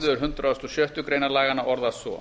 málsl hundrað og sjöttu grein laganna orðast svo